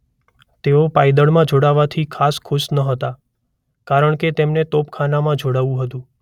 તેઓ પાયદળમાં જોડાવાથી ખાસ ખુશ નહોતા કારણ કે તેમને તોપખાનામાં જોડાવું હતું.